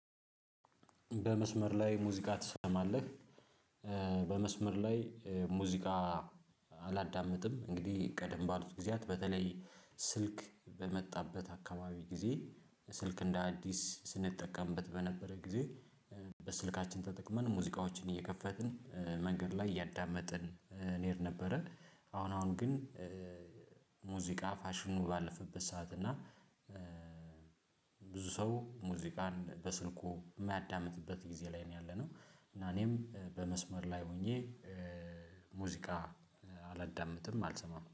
በመስመር ላይ ሙዚቃ ትሰማለህ? በመስመር ላይ ሙዚቃ አላዳምጥም እንግዲህ ቀደም ባሉት ጊዜያት በተለይ ስልክ በመጣበት አካባቢ ጊዜ ስልክ እንደ አዲስ ስንጠቀምበት በነበረ ጊዜ በስልካችን ተጠቅመን ሙዚቃዎችን እየከፈትን መንገድ ላይ እያዳመጥን እንሄድ ነበረ። አሁን አሁን ግን ሙዚቃ ፋሽኑ ባለፈበት ሰዓት እና ብዙ ሰው ሙዚቃን በስልኩ የማያዳምጥበት ጊዜ ላይ ነው ያለነው። እና እኔም በመስመር ላይ ሆኜ ሙዚቃ አላዳምጥም አልሰማም